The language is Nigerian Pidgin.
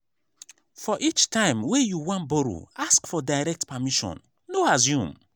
for each time wey you wan borrow ask for direct permission no assume